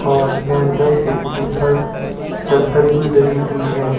और लेंटर के ऊपर चद्दर भी डरी हुई है।